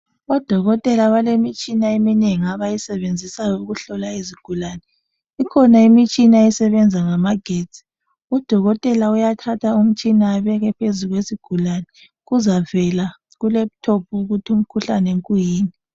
Odokotela balemitshina eminengi abayisebenzisayo ukuhlola izigulane Ikhona imitshina esebenza ngamagetsi .Udokotela uyathatha umtshina abeke phezu kwesigulane kuzavela ku laptop ukuthi umkhuhlane kuyini